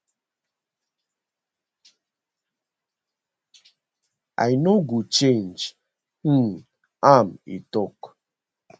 i no go change um am e tok